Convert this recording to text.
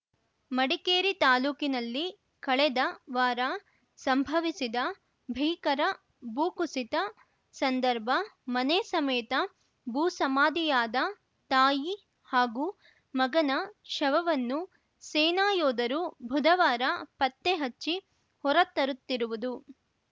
ಮಡಿಕೇರಿ ತಾಲೂಕಿನಲ್ಲಿ ಕಳೆದ ವಾರ ಸಂಭವಿಸಿದ ಭೀಕರ ಭೂಕುಸಿತ ಸಂದರ್ಭ ಮನೆ ಸಮೇತ ಭೂಸಮಾಧಿಯಾದ ತಾಯಿ ಹಾಗೂ ಮಗನ ಶವವನ್ನು ಸೇನಾ ಯೋಧರು ಬುಧವಾರ ಪತ್ತೆ ಹಚ್ಚಿ ಹೊರತರುತ್ತಿರುವುದು